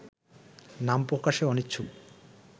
নামপ্রকাশে অনিচ্ছুক